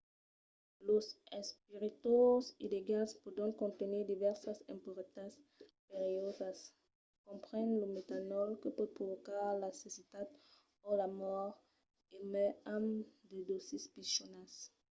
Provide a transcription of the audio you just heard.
los espiritoses illegals pòdon contenir divèrsas impuretats perilhosas comprenent lo metanòl que pòt provocar la cecitat o la mòrt e mai amb de dòsis pichonas